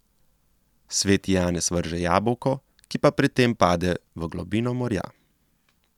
Sveti Janez vrže jabolko, ki pa pri tem pade v globino morja.